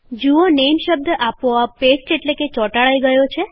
આપણે જોયું કે નેમ શબ્દ આપોઆપ પેસ્ટ એટલે કે ચોટાડાઈ થયો છે